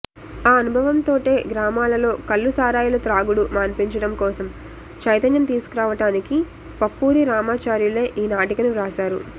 ఆ అనుభవంతోటే గ్రామాలలో కల్లు సారాయిల త్రాగుడు మాన్పించడం కోసం చైతన్యం తీసుకురావటానికి పప్పూరి రామాచార్యులే ఈనాటికను వ్రాశారు